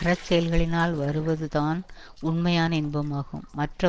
அறச்செயல்களினால் வருவதுதான் உண்மையான இன்பமாகும் மற்ற